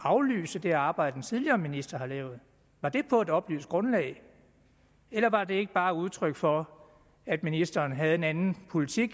aflyse det arbejde den tidligere minister har lavet var det på et oplyst grundlag eller var det ikke bare et udtryk for at ministeren havde en anden politik